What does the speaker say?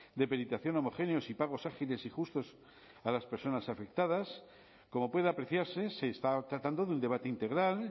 de peritación homogéneos y pagos ágiles y justos para las personas afectadas como puede apreciarse se está tratando de un debate integral